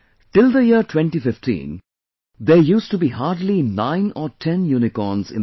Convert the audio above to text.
till the year 2015, there used to be hardly nine or ten Unicorns in the country